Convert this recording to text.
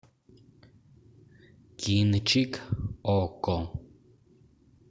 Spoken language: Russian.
кинчик окко